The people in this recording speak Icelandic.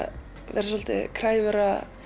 vera svolítið kræfur